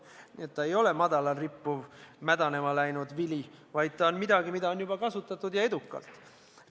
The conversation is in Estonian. Nii et ta ei ole madalal rippuv mädanema läinud vili, vaid ta on midagi, mida on juba kasutatud, ja edukalt.